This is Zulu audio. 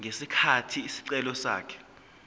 ngesikhathi isicelo sakhe